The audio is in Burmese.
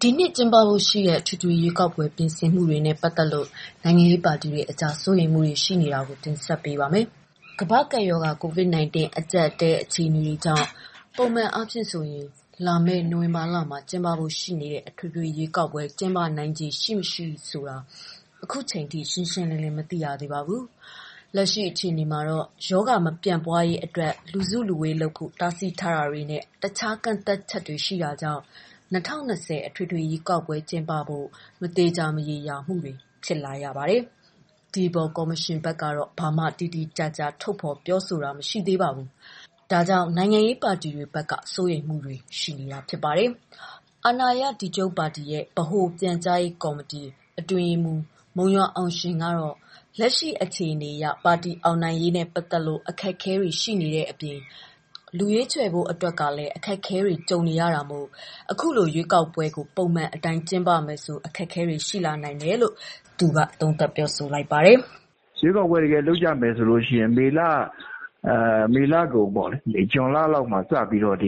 ဒီနှစ်ကျင်းပဖို့ ရှိနေတဲ့ အထွေထွေရွေးကောက်ပွဲပြင်ဆင်မှုတွေနဲ့ ပတ်သက်လို့ နိုင်ငံရေးပါတီတွေအကြားစိုးရိမ်မှုရှိနေတာကို ဗွီအိုအေမြန်မာပိုင်း သတင်းထောက် မမေခက တင်ဆက်ပေးပါမယ်။ ကမ္ဘာ့ကပ်ရောဂါ COVID-19 အကြပ်အတည်း အခြေအနေတွေကြောင့် ပုံမှန်အားဖြင့်ဆိုရင် လာမယ့်နိုဝင်ဘာလမှာ ကျင်းပဖို့ရှိတဲ့ အထွေထွေရွေးကောက်ပွဲ ကျင်းပနိုင်ခြေရှိ၊ မရှိ ရှင်းရှင်းလင်းလင်း မသိရသေးပါဘူး။ လက်ရှိ အခြေအနေမှာ ရောဂါမပြန့်ပွားရေးအတွက် လူစုလူဝေး လုပ်ဖို့ တားဆီးထားတာတွေနဲ့ တခြားကန့်သတ်ချက်တွေ ရှိတာကြောင့် ၂၀၂၀ အထွေထွေ ရွေးကောက်ပွဲ ကျင်းပဖို့ မသေချာမရေရာတွေ ဖြစ်လာရတာပါ။ ဒီအပေါ် ကော်မရှင်ဘက်ကတော့ ဘာမှ တိတိကျကျ ထုတ်ဖော်ပြောဆိုတာ မရှိသေးပါဘူး။ ဒီအပေါ်မှာ နိုင်ငံရေးပါတီတွေဘက်က စိုးရိမ်မှုတွေလည်း ရှိနေပါတယ်။ အာဏာရ ဒီချုပ်ပါတီ ဗဟိုပြန်ကြားရေးကော်မတီ အတွင်းရေးမှူး မုံရွာအောင်ရှင်ကတော့ လက်ရှိအခြေအနေအရ ပါတီအောင်နိုင်ရေးနဲ့ ပတ်သတ်လို့ အခက်အခဲတွေ ရှိနေတဲ့ အပြင် လူရွေးချယ်ဖို့အတွက်က အခက်အခဲတွေ ရှိနေတယ်လို့ အခုလို ရွေးကောက်ပွဲကို ပုံမှန် အတိုင်း ကျင်းပမယ်ဆို အခက်အခဲတွေ ရှိလာနိုင်တယ်လို့ သူက သုံးသပ်ပါတယ်။ "ရွေးကောက်ပွဲ လုပ်မယ်ဆို ဒီမေလကုန် ဇွန်လဆန်းလောက်မှာ စပြီးတော့ ကြ